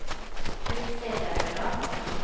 Kyrksæterøra